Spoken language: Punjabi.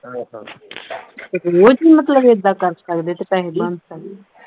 ਤੇ ਰੋਜ਼ ਮਤਲਬ ਏਦਾਂ ਕਰ ਸਕਦੇ ਤੇ ਪੈਸੇ ਬਣ ਸਕਦੇ